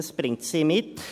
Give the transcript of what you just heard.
Das bringt sie mit.